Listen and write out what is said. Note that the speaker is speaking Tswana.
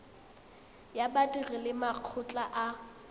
ya badiri le makgotla a